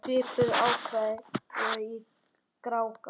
Svipuð ákvæði voru í Grágás.